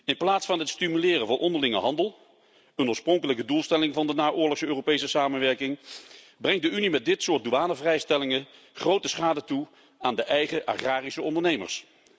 In plaats van het stimuleren van onderlinge handel, een oorspronkelijke doelstelling van de naoorlogse Europese samenwerking, brengt de Unie met dit soort douanevrijstellingen grote schade toe aan de eigen agrarische ondernemers.